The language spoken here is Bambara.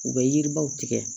U bɛ yiribaw tigɛ